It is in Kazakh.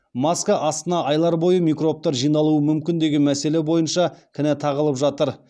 маска астына айлар бойы микробтар жиналуы мүмкін деген мәселе бойыншада кінә тағылып жатыр